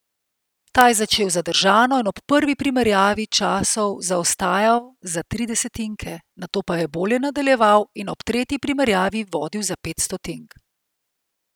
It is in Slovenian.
Ta je začel zadržano in ob prvi primerjavi časov zaostajal za tri desetinke, nato pa je bolje nadaljeval in ob tretji primerjavi vodil za pet stotink.